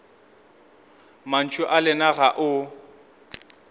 mantšu a lena ga o